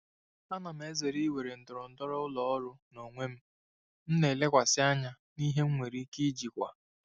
Ana m ezere iwere ndọrọndọrọ ụlọ ọrụ n'onwe m ma lekwasị anya na ihe m nwere ike ijikwa.